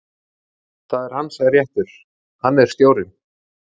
Það er hans réttur, hann er stjórinn.